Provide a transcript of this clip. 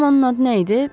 Görüm onun adı nə idi?